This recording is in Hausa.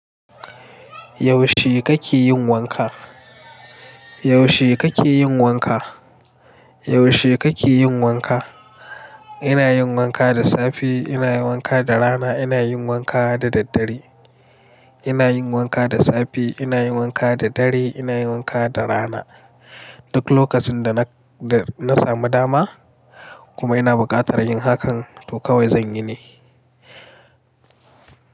Yaushe kake yin wanka? Yaushe kake yin wanka? Yaushe kake yin wanka? Ina yin wanka da safe, ina yin wanka da rana, ina yin wanka da daddare. Ina yin wanka da safe, ina yin wanka da dare, ina yin wanka da rana. Duk lokacin, da na samu dama kuma ina buƙatar yin hakan to kawai zan yi ne.